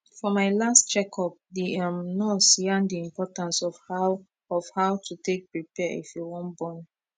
for my last check up the em nurse yarn d importance of how of how to take prepare if you wan born